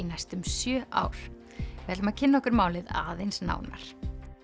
næstum sjö ár við ætlum að kynna okkur málið aðeins nánar